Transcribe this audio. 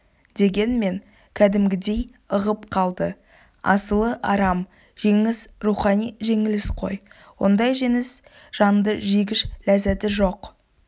дегенмен кәдімгідей ығып қалды асылы арам жеңіс рухани жеңіліс қой ондай жеңіс жанды жегіш ләззаты жоқ